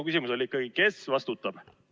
Minu küsimus oli ikkagi see: kes vastutab?